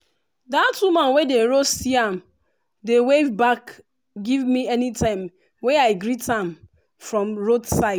that woman wey dey roast yam dey wave back give me anytime wey i greet am from roadside